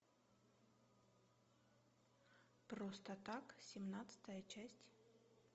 просто так семнадцатая часть